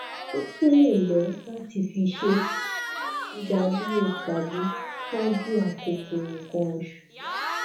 o tun le lo lati fi se idaduro tabi ṣaju akoko nkan osu